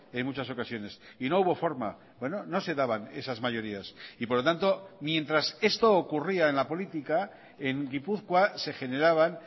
en muchas ocasiones y no hubo forma no se daban esas mayorías y por lo tanto mientras esto ocurría en la política en gipuzkoa se generaban